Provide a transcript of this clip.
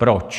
Proč?